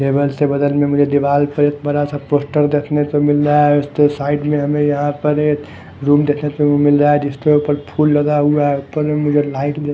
table के बगल में मुझे दीवाल पर एक बड़ा सा पोस्टर देखने को मिल रहा है उस के साइड में हमें यहां पर एक रूम देखने को मिल रहा है जिसके ऊपर फूल लगा ऊपर में लाइट --